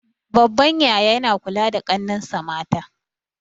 Babban yaya yana kula da ƙannensa mata